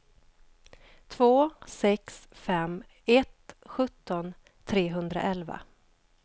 två sex fem ett sjutton trehundraelva